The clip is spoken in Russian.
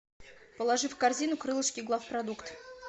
положи в корзину крылышки главпродукт